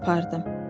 Mən də apardım.